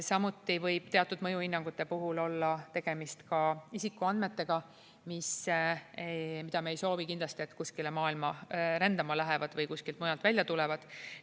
Samuti võib teatud mõjuhinnangute puhul olla tegemist isikuandmetega, mille puhul me ei soovi kindlasti, et need kuskile maailma rändama lähevad või kuskilt mujalt välja tulevad.